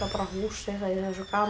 bara húsið það